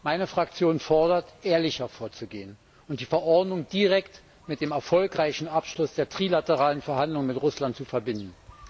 Meine Fraktion fordert, ehrlicher vorzugehen und die Verordnung direkt mit dem erfolgreichen Abschluss der trilateralen Verhandlungen mit Russland zu verbinden.